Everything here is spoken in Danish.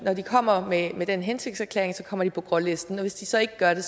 kommer med med den hensigtserklæring kommer de på grålisten og hvis de så ikke gør det